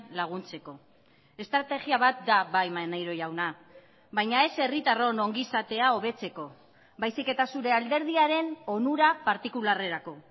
laguntzeko estrategia bat da bai maneiro jauna baina ez herritarron ongizatea hobetzeko baizik eta zure alderdiaren onura partikularrerako